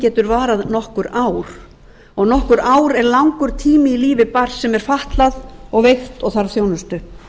getur varað nokkur ár og nokkur ár er langur tími í lífi barns sem er fatlað veikt og þarf þjónustu